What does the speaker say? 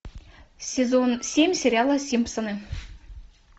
сезон семь сериала симпсоны